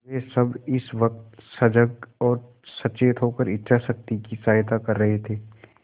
वे सब इस वक्त सजग और सचेत होकर इच्छाशक्ति की सहायता कर रहे थे